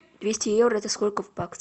двести евро это сколько в баксах